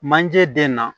Manje den na